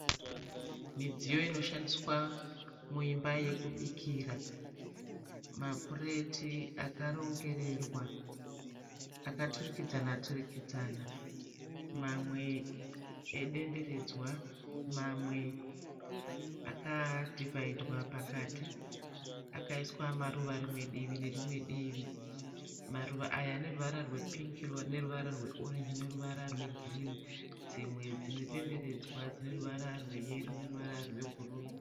MidzIyo inoshandiswa muimba yekubikira. Mapureti akarongererwa akaturikidzana-turikudzana mamwe edenderedzwa mamwe akadhivhaidwa pakati. Akaiswa maruva rimwe divi nerimwe divi. Maruva aya aneruvara rwepingi neruvara rweorenji neruvara rwegirinhi. Dzimwe dzinedenderedzwa dzineruvara rweyero neruvara rwebhuruu